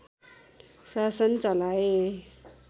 शासन चलाए